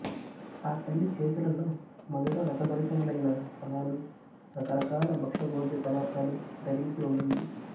ఆ తల్లి చేతులలో మధుర రసభరితములైన ఫలాలు రకరకాల భక్ష్య భోజ్య పదార్ధాలు ధరించి ఉండింది